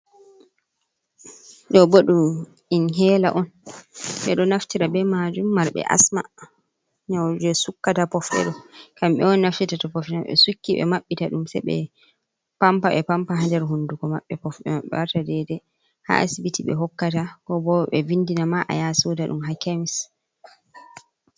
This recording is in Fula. Ɗoo boo, ɗum in hela on, ɓe ɗoo naftira be majum marɓe asma. Nyauje sukkata pofɗe ɗoo kamɓe on naftita to pofɗe maɓee ɗoo sukki ɓe mabbita ɗum se ɓe pampa ɓe pampa ha der hunduko maɓɓe pofɗe maɓɓe warta dede ha asibiti ɓe e hokkata ko boo ɓe e vindina ma'a ya soda ɗum ha kemis.